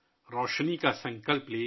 روشنی کا سنکلپ لے